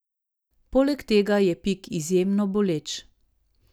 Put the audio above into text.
Poleg tega je pik izjemno boleč.